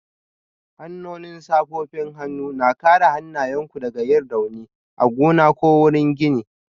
Hannun safofin hannu na kare hannayenku daga yin rauni a gona ko wurin gini